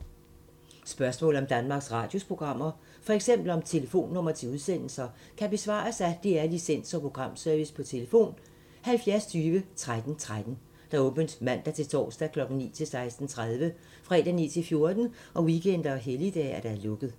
Spørgsmål om Danmarks Radios programmer, f.eks. om telefonnumre til udsendelser, kan besvares af DR Licens- og Programservice: tlf. 70 20 13 13, åbent mandag-torsdag 9.00-16.30, fredag 9.00-14.00, weekender og helligdage: lukket.